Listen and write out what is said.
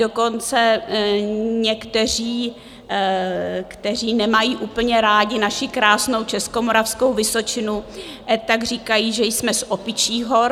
Dokonce někteří, kteří nemají úplně rádi naši krásnou Českomoravskou vysočinu, tak říkají, že jsme z opičích hor.